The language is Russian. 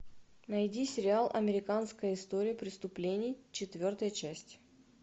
найди сериал американская история преступлений четвертая часть